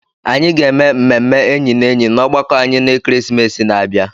Anyị ga-eme mmemme enyi na enyi na ọgbakọ anyị na ekeresimesi na-abịa.